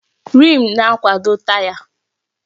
Rịịm na-akwado taya.